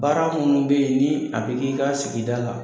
Baara minnu bɛ yen ni a bɛ k'i ka sigida la.